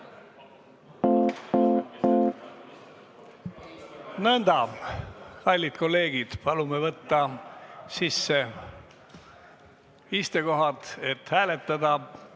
Nõnda, kallid kolleegid, palume võtta sisse kohad, et hääletada!